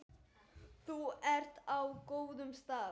Þú ert á góðum stað.